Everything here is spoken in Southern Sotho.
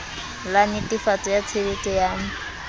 la netefatso ya tshehetso ya